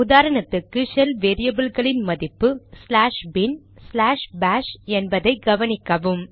உதாரணத்துக்கு ஷெல் வேரியபில்களின் மதிப்பு ச்லாஷ் பின்bin ச்லாஷ் பாஷ் என்பதை கவனிக்கவும்